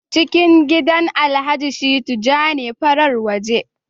ciki gidan alhaji shittu ja ne, farar waje